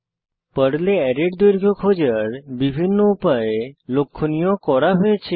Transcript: পর্লে অ্যারের দৈর্ঘ্য খোঁজার বিভিন্ন উপায় লক্ষনীয় করা হয়েছে